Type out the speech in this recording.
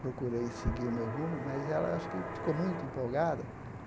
procurei seguir o meu rumo, mas ela acho que ficou muito empolgada.